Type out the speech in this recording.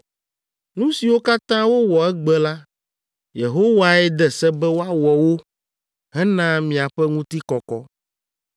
Nu siwo katã wowɔ egbe la, Yehowae de se be woawɔ wo hena miaƒe ŋutikɔkɔ.